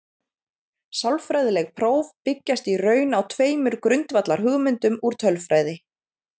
Sálfræðileg próf byggjast í raun á tveimur grundvallarhugmyndum úr tölfræði.